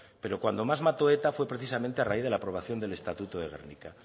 pero cuando más mató eta fue precisamente a raíz de la aprobación del estatuto de gernika